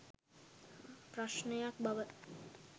ප්‍රශ්නයක් බව